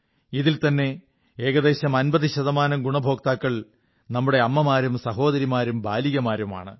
ഇതിൽത്തന്നെ ഏകദേശം 50 ശതമാനം ഗുണഭോക്താക്കൾ നമ്മുടെ അമ്മമാരും സഹോദരിമാരും ബാലികമാരുമാണ്